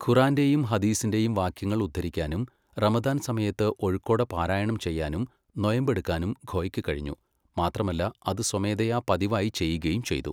ഖുർആന്റെയും ഹദീസിന്റെയും വാക്യങ്ങൾ ഉദ്ധരിക്കാനും റമദാൻ സമയത്ത് ഒഴുക്കോടെ പാരായണം ചെയ്യാനും നൊയമ്പെടുക്കാനും ഖോയ്ക്ക് കഴിഞ്ഞു, മാത്രമല്ല അത് സ്വമേധയാ പതിവായി ചെയ്യുകയും ചെയ്തു.